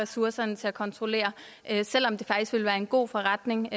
ressourcerne til at kontrollere selv om det faktisk ville være en god forretning